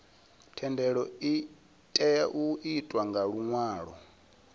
thendelo itea u itwa nga luṅwalo